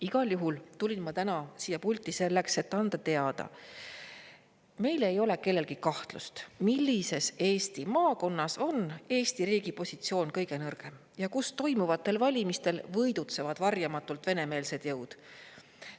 Igal juhul tulin ma täna siia pulti selleks, et anda teada, et meil ei ole kellelgi kahtlust, millises Eesti maakonnas on Eesti riigi positsioon kõige nõrgem ja kus toimuvatel valimistel võidutsevad varjamatult venemeelsed jõud.